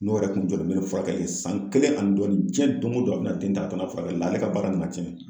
N'o yɛrɛ kun jɔlen bɛ ni furakɛli san kelen ani dɔɔni, cɛn don o don a bɛna den ta ka taa n'a ye furakɛli la , ale ka baara nana tiɲɛ.